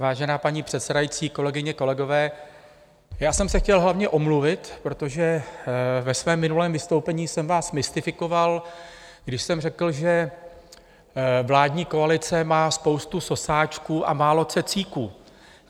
Vážená paní předsedající, kolegyně, kolegové, já jsem se chtěl hlavně omluvit, protože ve svém minulém vystoupení jsem vás mystifikoval, když jsem řekl, že vládní koalice má spoustu sosáčků a málo cecíků.